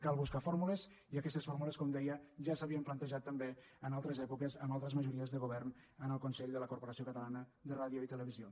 cal buscar fórmules i aquestes fórmules com deia ja s’havien plantejat també en altres èpoques amb altres majories de govern en el consell de la corporació catalana de ràdio i televisió